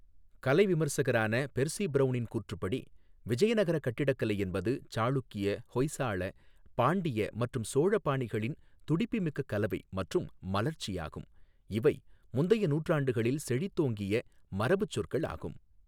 கலை விமர்சகரான பெர்சி பிரவுனின் கூற்றுப்படி, விஜயநகர கட்டிடக்கலை என்பது சாளுக்கிய, ஹொய்சால, பாண்டிய மற்றும் சோழ பாணிகளின் துடிப்புமிக்க கலவை மற்றும் மலர்ச்சியாகும், இவை முந்தைய நூற்றாண்டுகளில் செழித்தோங்கிய மரபுச்சொற்கள் ஆகும்.